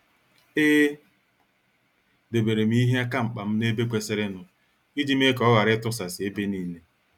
E deberem ihe aka mkpam n' ebe kwesịrịnụ, iji mee ka ọ ghara itusasi ebe niile.